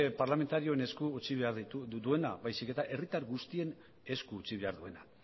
parlamentarioen esku utzi behar duena baizik eta herritar guztien esku utzi behar duena